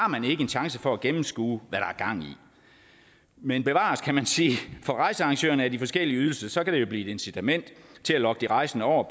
en chance for at gennemskue hvad er gang i men bevares kan man sige for rejsearrangørerne af de forskellige ydelser kan det jo blive et incitament til at lokke de rejsende over